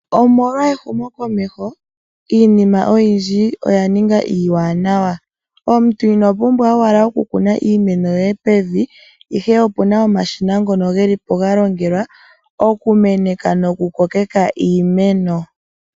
Omolwa ehumokomeho, iinima oyindji oya ninga iiwanawa. Omuntu ino pumbwa owala okukuna iimeno yoye pevi, ihe opuna omashina ngono geli po ga longelwa okumeneka nokukokeka iimeno.